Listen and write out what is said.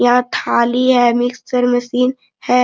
यहाँ थाली है मिक्सर मशीन हैं।